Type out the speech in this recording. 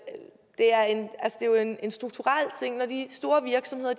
en strukturel ting når de store virksomheder